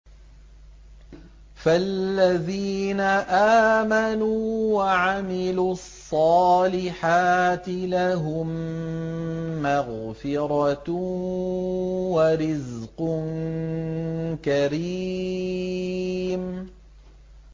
فَالَّذِينَ آمَنُوا وَعَمِلُوا الصَّالِحَاتِ لَهُم مَّغْفِرَةٌ وَرِزْقٌ كَرِيمٌ